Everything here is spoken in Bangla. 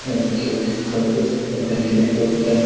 একটি কোট প্যান্ট-- ।